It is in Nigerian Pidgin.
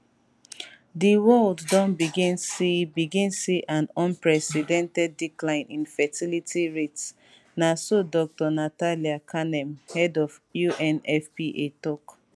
di world don begin see begin see an unprecedented decline in fertility rates na so dr natalia kanem head of unfpa tok